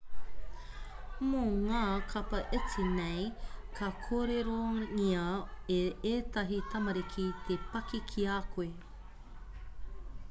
mō ngā kapa iti nei ka kōrerongia e ētahi tamariki te paki ki a koe